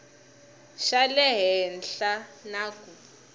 xa le henhla na ku